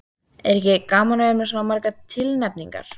Er ekki gaman að vera með svona margar tilnefningar?